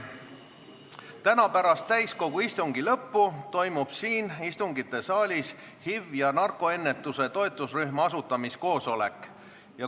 Täna pärast täiskogu istungi lõppu toimub siin istungisaalis HIV- ja narkoennetuse toetusrühma asutamiskoosolek.